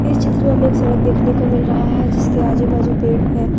इस चित्र में हमे एक सड़क देखने को मिल रहा है जिसके आजू बाजू पेड़ है।